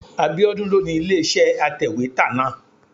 Abíọ́dún ló ni ilé-iṣẹ́ atẹ̀wétà náà.